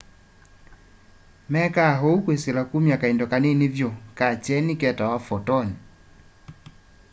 mekaa ũũ kwĩsĩla kũmya kaĩndo kanĩnĩ vyũ ka kyenĩ ketawa photon